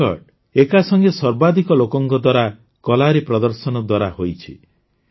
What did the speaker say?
ଏହି ରେକର୍ଡ ଏକାସଂଗେ ସର୍ବାଧିକ ଲୋକଙ୍କ ଦ୍ୱାରା କଲାରି ପ୍ରଦର୍ଶନ ଦ୍ୱାରା ହୋଇଛି